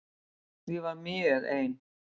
Ég var mjög ein.